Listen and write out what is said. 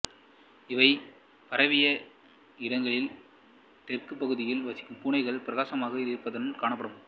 இவை பரவிய இடங்களில் தெற்கு பகுதிகளில் வசிக்கும் பூனைகள் பிரகாசமான நிறத்துடன் காணப்படும்